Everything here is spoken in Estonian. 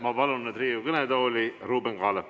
Ma palun nüüd Riigikogu kõnetooli Ruuben Kaalepi.